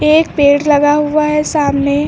एक पेड़ लगा हुआ है सामने--